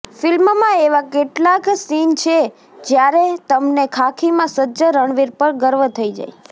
ફિલ્મમાં એવા કેટલાંક સીન છે જ્યારે તમને ખાખીમાં સજ્જ રણવીર પર ગર્વ થઈ જાય